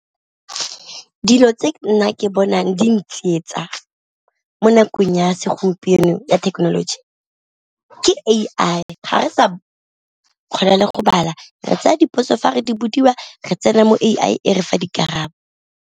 Dilo tse nna ke bonang di ntsietsa mo nakong ya segompieno ya thekenoloji ke A_I ga re sa kgona le go bala re tsaya dipotso fa re di bodiwa re tsena mo A_I e re fa dikarabo.